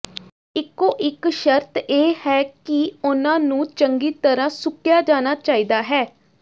ਇਕੋ ਇਕ ਸ਼ਰਤ ਇਹ ਹੈ ਕਿ ਉਹਨਾਂ ਨੂੰ ਚੰਗੀ ਤਰ੍ਹਾਂ ਸੁੱਕਿਆ ਜਾਣਾ ਚਾਹੀਦਾ ਹੈ